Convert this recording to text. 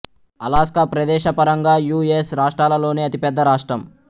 Alaska ప్రెదేశపరంగా U S రాష్ట్రాలలోనే అతి పెద్ద రాష్ట్రం